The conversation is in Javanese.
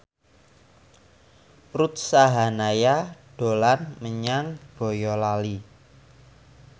Ruth Sahanaya dolan menyang Boyolali